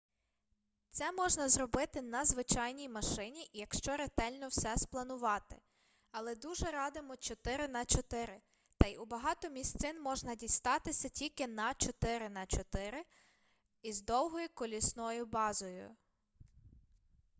це можна зробити на звичайній машині якщо ретельно все спланувати але дуже радимо 4x4 та й у багато місцин можна дістатися тільки на 4x4 із довгою колісною базою